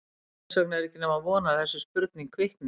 Þess vegna er ekki nema von að þessi spurning kvikni.